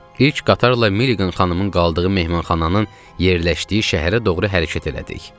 İlk qatarla Meliqan xanımın qaldığı mehmanxananın yerləşdiyi şəhərə doğru hərəkət elədik.